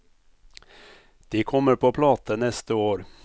De kommer på plate neste år.